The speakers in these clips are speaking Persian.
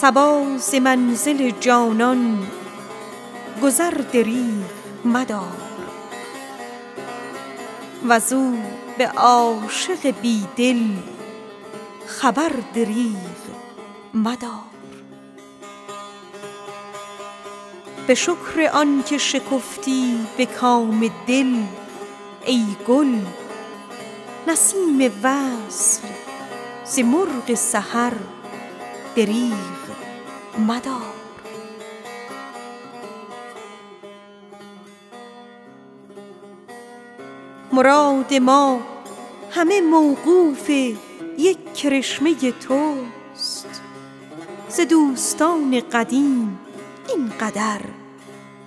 صبا ز منزل جانان گذر دریغ مدار وز او به عاشق بی دل خبر دریغ مدار به شکر آن که شکفتی به کام بخت ای گل نسیم وصل ز مرغ سحر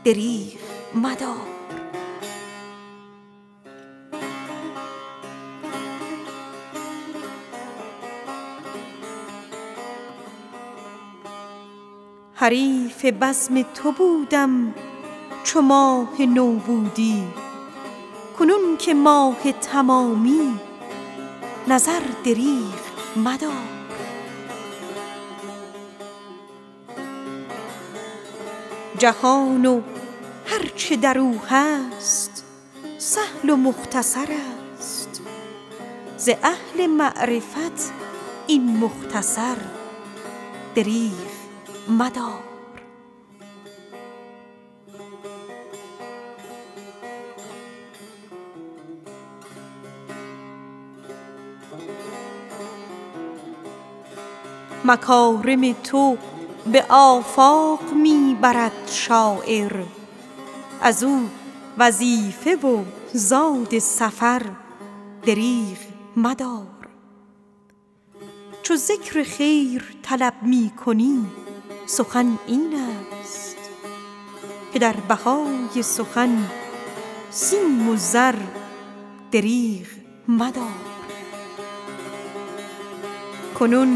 دریغ مدار حریف عشق تو بودم چو ماه نو بودی کنون که ماه تمامی نظر دریغ مدار جهان و هر چه در او هست سهل و مختصر است ز اهل معرفت این مختصر دریغ مدار کنون که چشمه قند است لعل نوشین ات سخن بگوی و ز طوطی شکر دریغ مدار مکارم تو به آفاق می برد شاعر از او وظیفه و زاد سفر دریغ مدار چو ذکر خیر طلب می کنی سخن این است که در بهای سخن سیم و زر دریغ مدار غبار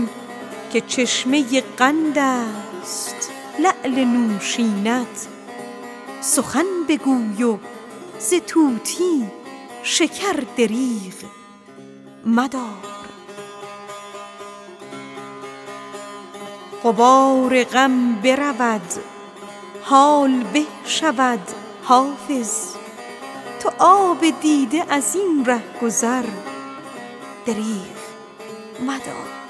غم برود حال خوش شود حافظ تو آب دیده از این ره گذر دریغ مدار